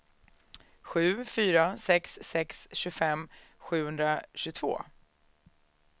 sju fyra sex sex tjugofem sjuhundratjugotvå